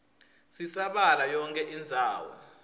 sisabalala yonkhe indzawo